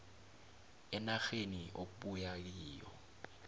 enarheni okubuya kiyo